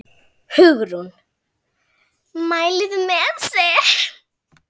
Hugrún: Mælið þið með þessu?